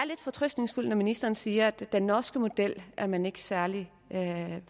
lidt fortrøstningsfuld når ministeren siger at det med den norske model er man ikke er særlig